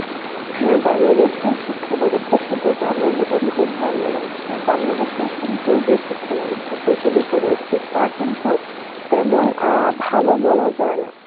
হ্যাঁ বাংলাদেশের শিক্ষা ব্যবস্থা সম্বন্ধে আমার মোটামুটি ধারণা রয়েছে বাংলাদেশে কিন্তু যে শিক্ষাব্যবস্থার প্রচলিত রয়েছে তা কিন্তু তেমন আ ভালো বলা জায়না